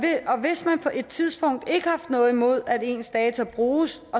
på et tidspunkt ikke har haft noget imod at ens data bruges